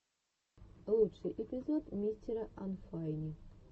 лучший эпизод мистера анфайни